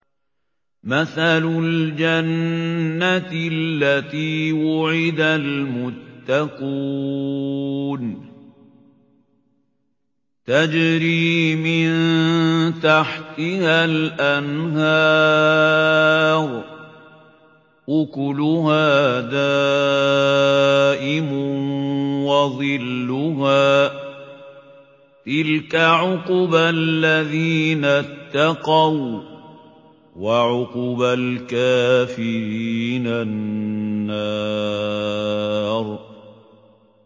۞ مَّثَلُ الْجَنَّةِ الَّتِي وُعِدَ الْمُتَّقُونَ ۖ تَجْرِي مِن تَحْتِهَا الْأَنْهَارُ ۖ أُكُلُهَا دَائِمٌ وَظِلُّهَا ۚ تِلْكَ عُقْبَى الَّذِينَ اتَّقَوا ۖ وَّعُقْبَى الْكَافِرِينَ النَّارُ